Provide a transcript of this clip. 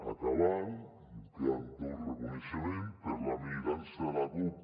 acabant em queda tot el reconeixement per a la militància de la cup